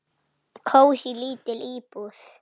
Kósí, lítil íbúð.